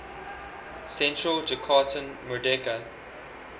central jakarta merdeka